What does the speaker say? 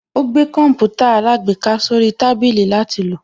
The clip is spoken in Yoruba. Ó gbé Kọǹpútà alágbèéká sórí tábìlì látil lò